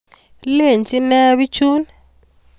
lenjin nee biichun?